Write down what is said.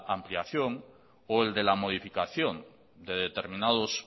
ampliación o el de la modificación de determinados